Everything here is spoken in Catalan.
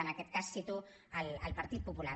en aquest cas cito el partit popular